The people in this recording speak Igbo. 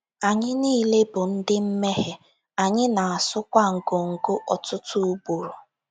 Anyị niile bụ ndị mmehie, anyị na - asụkwa ngọngọ ọtụtụ ugboro.